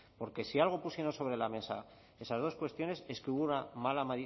porque si algo pusimos sobre la mesa esas dos cuestiones es que hubo